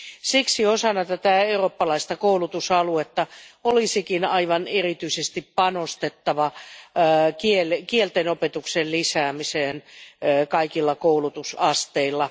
Siksi osana tätä eurooppalaista koulutusaluetta olisikin aivan erityisesti panostettava kieltenopetuksen lisäämiseen kaikilla koulutusasteilla.